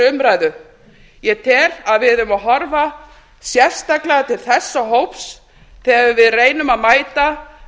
umræðu ég tel að við eigum að horfa sérstaklega til þessa hóps þegar við reynum að mæta